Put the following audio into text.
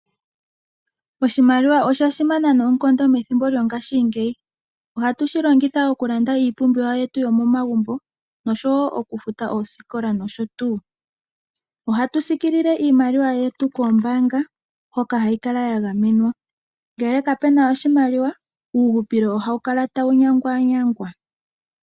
Oshimaliwa osha simana noonkondo methimbo lyo ngaashingeyi. Ohatu shi longitha okulanda iipumbiwa yetu yo momagumbo oshowo oku futa oosikola nosho tuu. Ohatu siikilile iimaliwa yetu koombaanga hoka hayi kala ya gamenwa, ngele kapuna oshimaliwa uuhupilo ohawu kala tawu nyangwanyangwa.